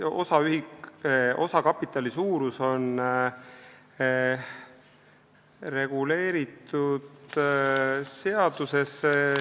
See osakapitali suurus on reguleeritud seaduses.